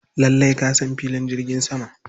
Lallai ka san filin jirgin sama.